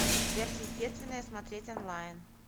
сверхъестественное смотреть онлайн